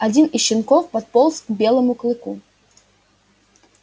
один из щенков подполз к белому клыку